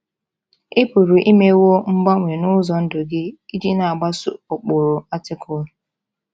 Ị pụrụ imewo mgbanwe n’ụzọ ndụ gị iji na - agbaso ụkpụrụ Artikụlụ.